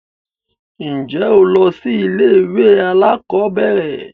Ǹjẹ́ o lọ sí ilé ìwé alákọ̀berẹ̀?